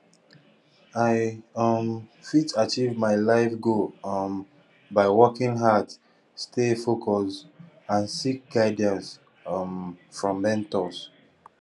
i um fit achieve my life goal um by working hard stay focused and seek guidance um from mentors